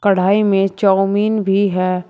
कढ़ाई में चाऊमीन भी है।